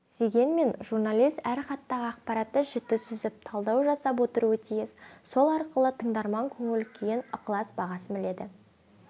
дегенмен журналист әр хаттағы акпаратты жіті сүзіп талдау жасап отыруы тиіс сол арқылы тыңдарман көңіл-күйін ықылас бағасын біледі